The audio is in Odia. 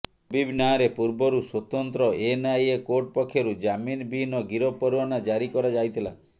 ହବିବ୍ ନାଁରେ ପୂର୍ବରୁ ସ୍ୱତନ୍ତ୍ର ଏନ୍ଆଇଏ କୋର୍ଟ ପକ୍ଷରୁ ଜାମିନ୍ ବିହିନ ଗିରଫ ପରୱାନା ଜାରି କରାଯାଇଥିଲା